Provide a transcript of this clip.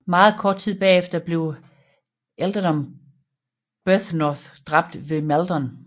Meget kort tid bagefter blev ealdorman Byrhtnoth dræbt ved Maldon